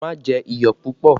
Má jẹ iyọ̀ púpọ̀!